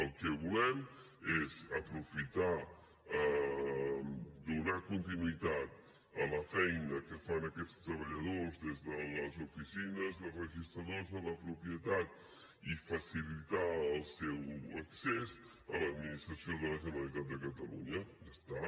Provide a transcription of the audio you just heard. el que volem és aprofitar donar continuïtat a la feina que fan aquests treballadors des de les oficines de registradors de la propietat i facilitar el seu accés a l’administració de la generalitat de catalunya ja està